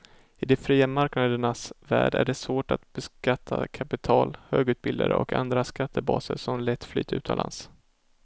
I de fria marknadernas värld är det svårt att beskatta kapital, högutbildade och andra skattebaser som lätt flyttar utomlands.